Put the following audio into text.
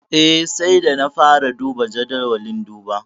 Eh, sai da na fara duba jadawalin duba.